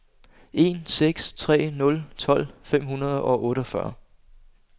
en seks tre nul tolv fem hundrede og otteogfyrre